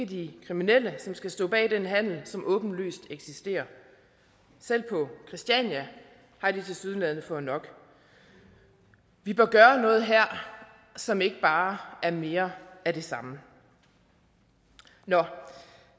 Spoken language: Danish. de kriminelle som skal stå bag den handel som åbenlyst eksisterer selv på christiania har de tilsyneladende fået nok vi bør gøre noget her som ikke bare er mere af det samme nå